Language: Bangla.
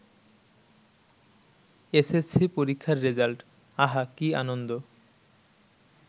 এসএসসি পরীক্ষার রেজাল্ট আহা কি আনন্দ।